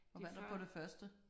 Og hvad er der på det første?